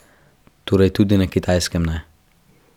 Torej tudi na Kitajskem ne.